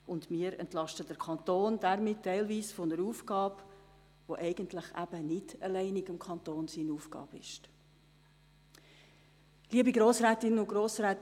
Zudem entlasten wir den Kanton damit teilweise von einer Aufgabe, die im Grunde nicht die alleinige Aufgabe des Kantons ist.